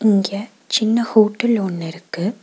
இங்க சின்ன ஹோட்டல் ஒன்னு இருக்கு.